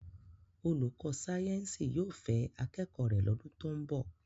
Olùkọ́ sáyẹ́ǹsì yóò fẹ́ akẹ́kọ̀ọ́ rẹ̀ lọ́dún tó ń bọ̀.